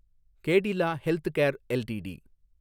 Cadila healthcare LTD